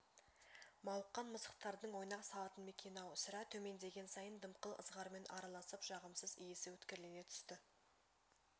мауыққан мысықтардың ойнақ салатын мекені-ау сірә төмендеген сайын дымқыл ызғармен араласып жағымсыз иісі өткірлене түсті